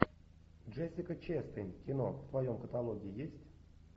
джессика честейн кино в твоем каталоге есть